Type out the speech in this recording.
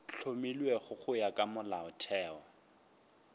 hlomilwego go ya ka molaotheo